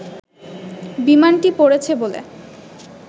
বিমানটি পড়েছে বলে